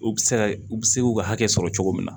U bɛ se ka u bɛ se k'u ka hakɛ sɔrɔ cogo min na